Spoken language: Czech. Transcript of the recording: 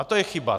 A to je chyba.